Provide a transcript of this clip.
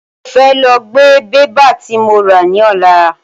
Mo fẹ lọ gbé bébà tí mo rà ní ọ̀la.